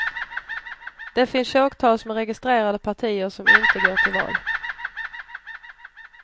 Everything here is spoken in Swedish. Det finns tjogtals med registrerade partier som inte går till val.